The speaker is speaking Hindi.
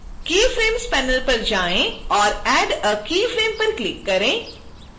keyframes panel पर जाएँ और add a keyframe पर क्लिक करें